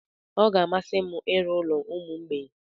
Ọ ga-amasị m ịrụ ụlọ ụmụ mgbei.